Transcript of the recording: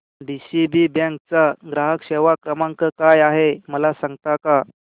DCB bank चा ग्राहक सेवा क्रमांक काय आहे मला सांगता का